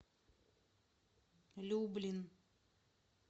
люблин